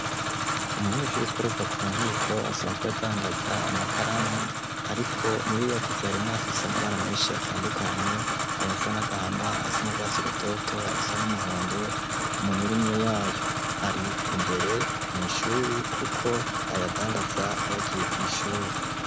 Umunyeshuri yitwa Ruvakunkiko, asanzwe adandaza amakaramu, ariko muyo yaguze harimwo iyifise amabara menshi atandukanye: ayasa n'agahama, ayasa n'urwatsi rùoto, ayasa n'umuhondo kumirumyo yayo, ar'imbere mw'ishure kuko ayadandaza yagiye kw'ishure.